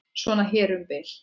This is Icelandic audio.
Svona hér um bil.